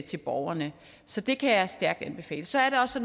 til borgerne så det kan jeg stærkt anbefale så er det også